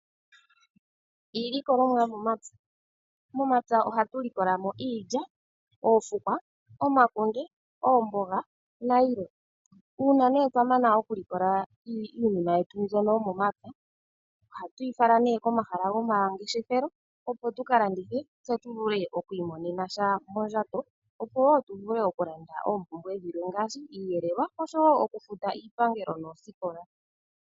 Iilikolomwa yomomapya Momapya ohatu likola mo iilya, oofukwa, omakunde, oomboga nayilwe. Uuna nee twa mana oku likola nee iinima yetu mbyono yomomapya ohatu yi fala nee komahala gomangeshefelo, opo tu ka landithe, tse tu vule oku imonena sha mondjato, opo wo tu vule oku landa oompumbwe dhilwe ngaashi iiyelelwa oshowo oku futa iipangelo noosikola.